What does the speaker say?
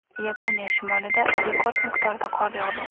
Yaponiya shimolida rekord miqdorda qor yog‘di.